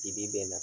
Dibi bɛn na